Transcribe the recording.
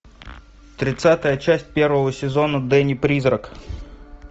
тридцатая часть первого сезона дэнни призрак